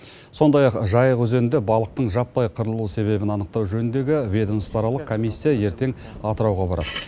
сондай ақ жайық өзенінде балықтың жаппай қырылу себебін анықтау жөніндегі ведомствоаралық комиссия ертең атырауға барады